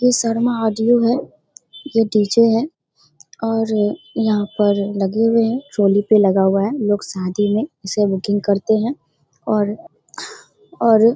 ये शर्मा आर.डी.ओ. है। ये डी.जे. है और यहाँ पर लगे हुए हैं ट्रोली पे लगा हुआ है हम लोग शादी में इसे बुकिंग करते हैं और और--